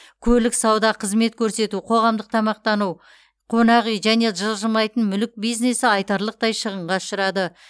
көлік сауда қызмет көрсету қоғамдық тамақтану қонақ үй және жылжымайтын мүлік бизнесі айтарлықтай шығынға ұшырады